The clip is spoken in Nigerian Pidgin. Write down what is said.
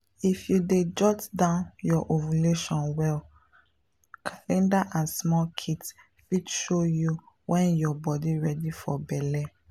if you dey jot down your ovulation well calendar and small kits fit show you when body ready for belle.